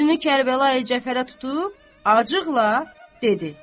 Üzünü Kərbəlayı Cəfərə tutub acıqla dedi.